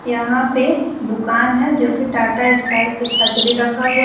यहां पे दुकान है जो कि टाटा स्काई की छतरी रखा हुआ--